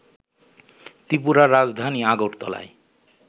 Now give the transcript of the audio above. ত্রিপুরার রাজধানী আগরতলায়